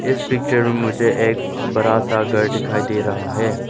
इस पिक्चर में मुझे एक बड़ा सा घर दिखाई दे रहा है।